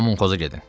Kommunxozə gedin.